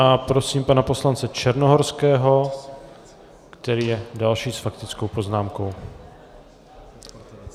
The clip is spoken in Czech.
A prosím pana poslance Černohorského, který je další s faktickou poznámkou.